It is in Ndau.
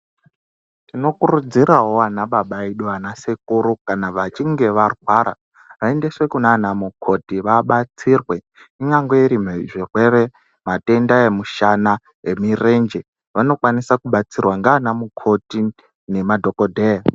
Tinokurudzirawo vana baba edu nanasekuru kana vachinge varwara vayendeswe kunanamukoti vabatsirwe. Inyangwe irizvirwere, matenda emushana, emirenje, vanokwanisa kubatsirwa nganamukoti nemadhokodheya.